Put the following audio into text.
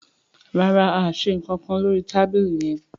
ràrá a ṣe nkan nkán lórí tábìlì yén.